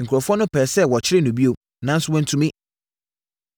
Nkurɔfoɔ no pɛɛ sɛ wɔkyere no bio, nanso wɔantumi.